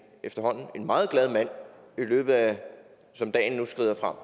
meget glad mand som dagen nu skrider frem